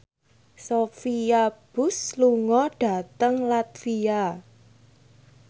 Sophia Bush lunga dhateng latvia